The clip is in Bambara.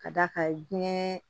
Ka d'a kan diɲɛ